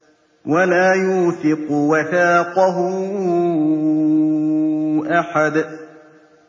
وَلَا يُوثِقُ وَثَاقَهُ أَحَدٌ